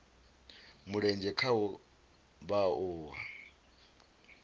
mulenzhe khaho vha o a